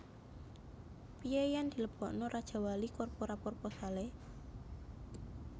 Pie yen dilebokno Rajawali Corpora proposale